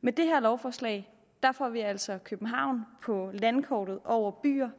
med det her lovforslag får vi altså københavn på landkortet over byer